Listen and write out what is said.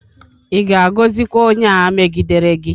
Ịvga-agọzịkwa onye a megidere gi?